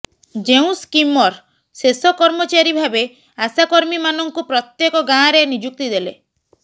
ଯେଉଁ ସ୍କିମର ଶେଷ କର୍ମଚାରୀ ଭାବେ ଆଶାକର୍ମୀମାନଙ୍କୁ ପ୍ରତ୍ୟେକ ଗାଁରେ ନିଯୁକ୍ତି ଦେଲେ